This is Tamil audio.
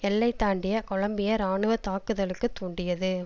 எல்லை தாண்டிய கொலம்பிய இராணுவ தாக்குதலுக்கு தூண்டியது